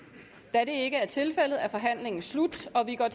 da det ikke er tilfældet er forhandlingen slut og vi går